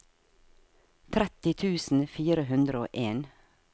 tretti tusen fire hundre og en